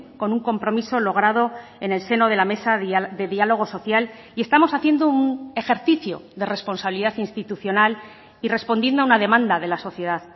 con un compromiso logrado en el seno de la mesa de diálogo social y estamos haciendo un ejercicio de responsabilidad institucional y respondiendo a una demanda de la sociedad